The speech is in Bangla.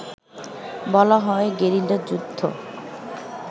বলা হয় গেরিলা যুদ্ধ